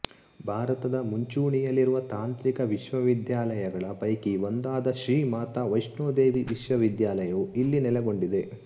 ಭಾರತದ ಮುಂಚೂಣಿಯಲ್ಲಿರುವ ತಾಂತ್ರಿಕ ವಿಶ್ವವಿದ್ಯಾಲಯಗಳ ಪೈಕಿ ಒಂದಾದ ಶ್ರೀ ಮಾತಾ ವೈಷ್ಣೋ ದೇವಿ ವಿಶ್ವವಿದ್ಯಾಲಯವೂ ಇಲ್ಲಿ ನೆಲೆಗೊಂಡಿದೆ